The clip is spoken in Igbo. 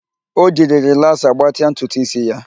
O jiri rịlaasa gbatịa ntutu ísí ya